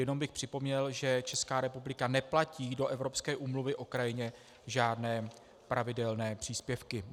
Jenom bych připomněl, že Česká republika neplatí do Evropské úmluvy o krajině žádné pravidelné příspěvky.